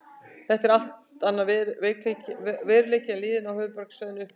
Þetta er allt annar veruleiki en liðin á höfuðborgarsvæðinu upplifa.